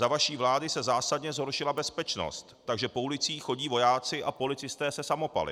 Za vaší vlády se zásadně zhoršila bezpečnost, takže po ulicích chodí vojáci a policisté se samopaly.